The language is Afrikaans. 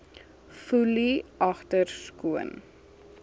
foelie agter skoon